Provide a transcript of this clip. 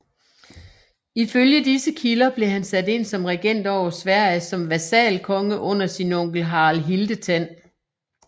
Ifølge disse kilder blev han sat ind som regent over Sverige som vasalkonge under sin onkel Harald Hildetand